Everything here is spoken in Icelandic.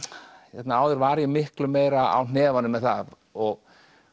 hérna áður var ég miklu meira á hnefanum með það og